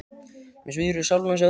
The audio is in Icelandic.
Mig svíður í sálina að sjá þig.